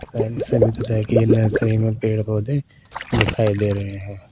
Side में सभी तरह के नर्सरी में पेड़-पौधे दिखाई दे रहे हैं।